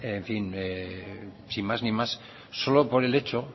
en fin sin más ni más solo por el hecho